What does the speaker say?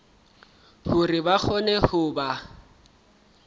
hore ba kgone ho ba